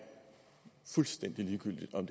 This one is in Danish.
fuldstændig ligegyldigt om